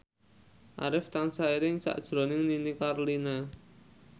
Arif tansah eling sakjroning Nini Carlina